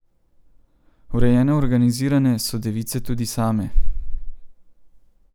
Urejene in organizirane so device tudi same.